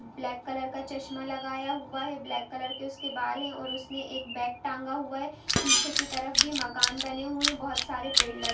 Block colour का चश्मा लगाया हुआ है। ब्लाक कलर के उसके बाल है। और उसने एक बेग टांगा हुआ है | पीछे की तरफ भी मकान बने हुए बहुत सारे पेड़ लग--